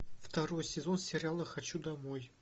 второй сезон сериала хочу домой